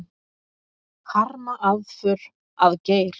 Harma aðför að Geir